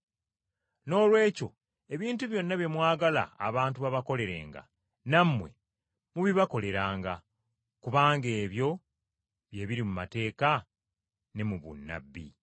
Noolwekyo ebintu byonna bye mwagala abantu okubakoleranga, nammwe mubibakoleranga, kubanga ebyo bye biri mu mateeka ne mu bunnabbi.”